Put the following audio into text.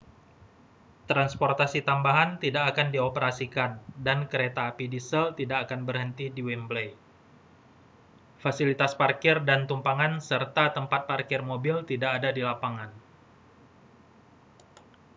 transportasi tambahan tidak akan dioperasikan dan kereta api diesel tak akan berhenti di wembley fasilitas parkir dan tumpangan serta tempat parkir mobil tidak ada di lapangan